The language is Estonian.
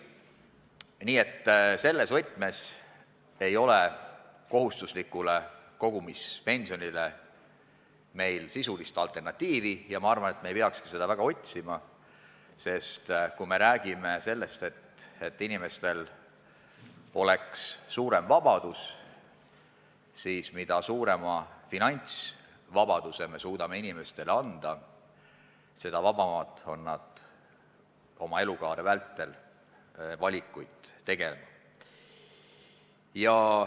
Nii et selles mõttes ei ole meil kohustuslikule kogumispensionile sisulist alternatiivi ja ma arvan, et me ei peakski seda väga otsima, sest kui räägime sellest, et inimestel oleks suurem vabadus, siis mida suurema finantsvabaduse me suudame neile anda, seda vabamad on nad oma elukaare vältel valikuid tegema.